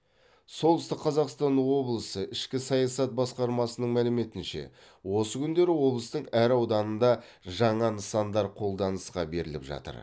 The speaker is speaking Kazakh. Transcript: солтүстік қазақстан облысы ішкі саясат басқармасының мәліметінше осы күндері облыстың әр ауданында жаңа нысандар қолданысқа беріліп жатыр